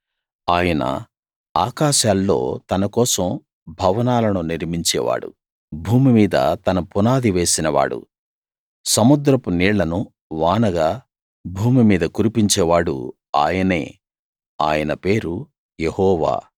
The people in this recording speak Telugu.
ఆయన ఆకాశాల్లో తన కోసం భవనాలను నిర్మించేవాడు భూమి మీద తన పునాది వేసినవాడు సముద్రపు నీళ్ళను వానగా భూమి మీద కురిపించేవాడు ఆయనే ఆయన పేరు యెహోవా